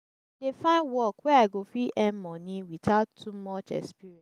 dey find work wey i go fit earn money witout too much experience.